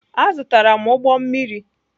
Azụtara m ụgbọ mmiri.